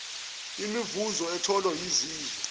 imivuzo etholwa yizizwe